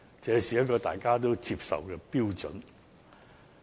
這是一個大家都接受的標準。